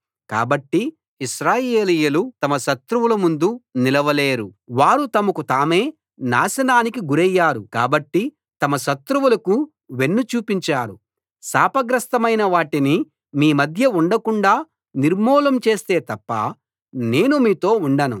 కాబట్టి ఇశ్రాయేలీయులు తమ శత్రువుల ముందు నిలవలేరు వారు తమకు తామే నాశనానికి గురయ్యారు కాబట్టి తమ శత్రువులకు వెన్నుచూపించారు శాపగ్రస్తమైన వాటిని మీ మధ్య ఉండకుండాా నిర్మూలం చేస్తే తప్ప నేను మీతో ఉండను